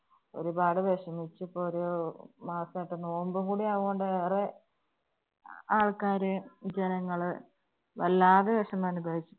ഒരുപാട് വെഷമിച്ച് ഇപ്പോ ഒരു മാസായിട്ട് നോമ്പും കൂടെ ആവുന്നോണ്ട് ഏറെ ആള്‍ക്കാര്, ജനങ്ങള് വല്ലാതെ വെഷമനുഭവി